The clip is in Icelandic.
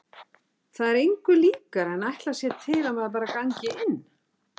Það er engu líkara en að ætlast sé til að maður gangi bara inn.